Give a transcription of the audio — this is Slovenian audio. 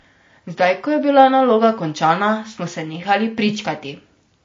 Zdaj ko je bila naloga končana, smo se nehali pričkati.